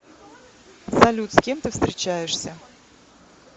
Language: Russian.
салют с кем ты встречаешься